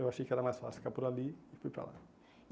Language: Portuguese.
Eu achei que era mais fácil ficar por ali e fui para lá.